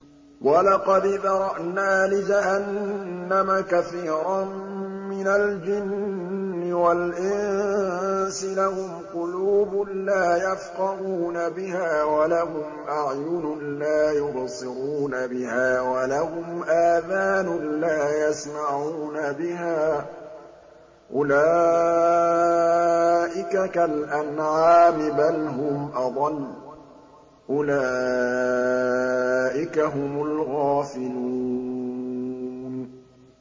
وَلَقَدْ ذَرَأْنَا لِجَهَنَّمَ كَثِيرًا مِّنَ الْجِنِّ وَالْإِنسِ ۖ لَهُمْ قُلُوبٌ لَّا يَفْقَهُونَ بِهَا وَلَهُمْ أَعْيُنٌ لَّا يُبْصِرُونَ بِهَا وَلَهُمْ آذَانٌ لَّا يَسْمَعُونَ بِهَا ۚ أُولَٰئِكَ كَالْأَنْعَامِ بَلْ هُمْ أَضَلُّ ۚ أُولَٰئِكَ هُمُ الْغَافِلُونَ